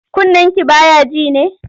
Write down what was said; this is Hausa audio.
Kunnenki ba ya ji ne?